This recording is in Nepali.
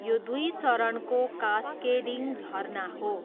यो दुई चरणको कास्केडिङ झरना हो।